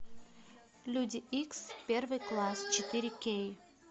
люди икс первый класс четыре кей